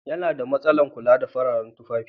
Yana da masalan kula da fararen tufafi